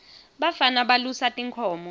bafana balusa tinkhomo